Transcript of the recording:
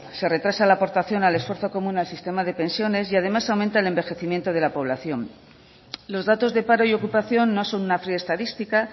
se retrasa la aportación al esfuerzo común al sistema de pensiones y además aumenta el envejecimiento de la población los datos de paro y ocupación no son una fría estadística